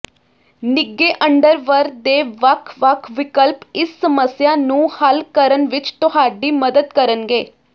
ਨਿੱਘੇ ਅੰਡਰਵਰ ਦੇ ਵੱਖ ਵੱਖ ਵਿਕਲਪ ਇਸ ਸਮੱਸਿਆ ਨੂੰ ਹੱਲ ਕਰਨ ਵਿੱਚ ਤੁਹਾਡੀ ਮਦਦ ਕਰਨਗੇ